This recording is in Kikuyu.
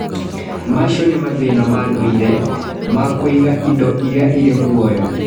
Macio nĩ mathĩna ma ndũire ma kũiga indo iria irĩ muoyo.